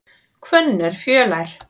Hvönn er fjölær.